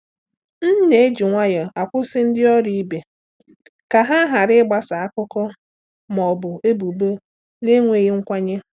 M na-eji nwayọọ akwụsị ndị ọrụ ibe ka ha ghara ịgbasa akụkọ ma ọ bụ ebubo na-enweghị nkwenye.